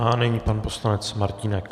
A nyní pan poslanec Martínek.